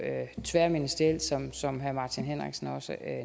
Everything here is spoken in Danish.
tværministerielt som som herre martin henriksen også